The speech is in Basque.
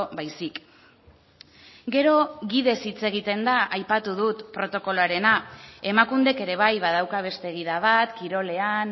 baizik gero gidez hitz egiten da aipatu dut protokoloarena emakundek ere bai badauka beste gida bat kirolean